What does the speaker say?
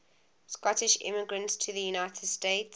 scottish immigrants to the united states